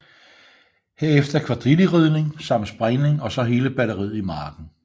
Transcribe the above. Herefter kvadrilleridning samt springning og så hele batteriet i marken